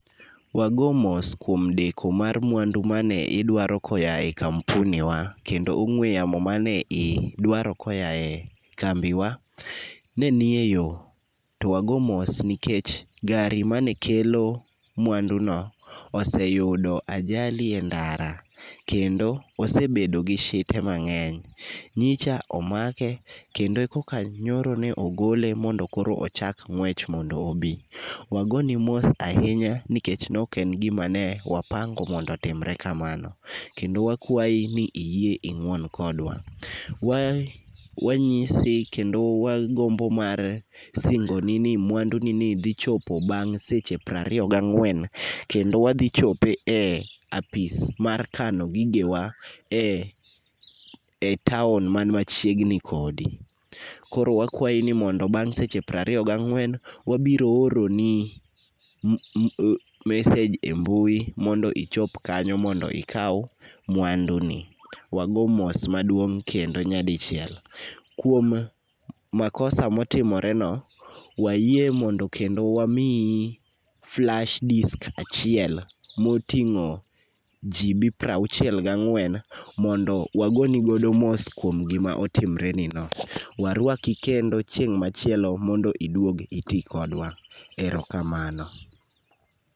Wago mos kuom deko mar mwandu mane idwaro koya e kampuni wa ,kendo ong'we yamo mane idwaro koya e kambiwa ,ne nie yo, to wago mos nikech gari mane kelo mwanduno oseyudo ajali e ndara, kendo osebedo gi shite mang'eny. Nyicha omake, kendo koka nyoro ogole mondo koro ochak ng'wech mondo obi. Wagoni mos ahinya nikech noken gima ne wapango mondo otimre kamano. Kendo wakawayi ni iyie ing'uon kodwa. Wanyise kendo wagombo mar singoni ni mwandunini dhi chopo bang' seche prariyo gang'wen. Kendo wadhi chope e apis mar kano gigewa e town man machiegni kodi. Koro wakwayi ni mondo bang' seche pariyo ga ng'wen, wabiro oro ni message e mbui mondo ichop kanyo mondo ikaw mwanduni. Wago mos maduong' kendo nyadichiel, kuom makosa motimoreno, wayie mondo kendo wamiyi flash disk achiel motingo [cd]gb prauchiel ga ng'wen mondo wagoni go mos kuom gima otimrenino. Warwaki kendo chieng' machielo mondo iduog iti kodwa. Ero kamano.